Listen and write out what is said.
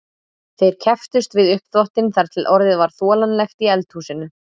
Þeir kepptust við uppþvottinn þar til orðið var þolanlegt í eldhúsinu.